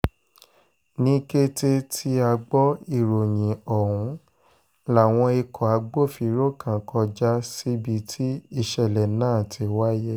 ní kété tí a gbọ́ ìròyìn ọ̀hún láwọn ikọ̀ agbófinró kan kọjá síbi tí ìṣẹ̀lẹ̀ náà ti wáyé